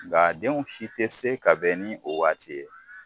Nk'a denw si tɛ se ka bɛn ni o waati ye.